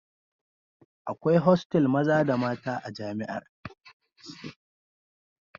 Akwai hostel maza da mata a jami'ar